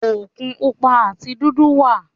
Òkun Pupa àti dúdú wà.